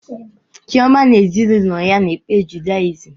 Chioma na ezinụlọ ya na-ekpe judayizịm